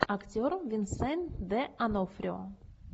актер винсент д онофрио